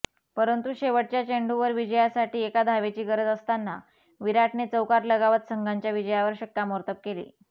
परंतु शेवटच्या चेंडूवर विजयासाठी एका धावेची गरज असताना विराटने चौकार लगावत संघाच्या विजयावर शिक्कामोर्तब केले